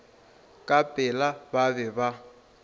ka pela ba be ba